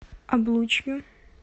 облучью